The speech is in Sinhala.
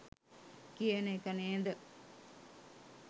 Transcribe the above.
කියන එක නේද?